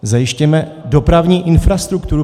Zajistěme dopravní infrastrukturu.